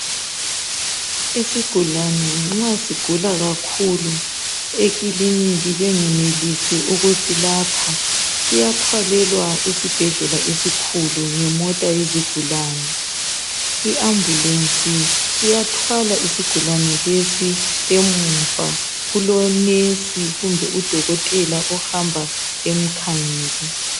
Isigulane nxa sigula kakhulu ekiliniki bengenelisi ukusilapha ,siyathwalelwa esibhedlela esikhulu ngemota yesigulane. Iambulensi iyathwala isigulane lesi, emuva kulonesi kumbe udokotela ihamba emkhangele.